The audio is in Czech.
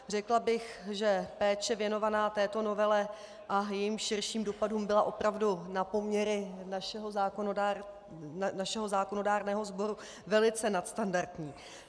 Řekla bych, že péče věnovaná této novele a jejím širším dopadům byla opravdu na poměry našeho zákonodárného sboru velice nadstandardní.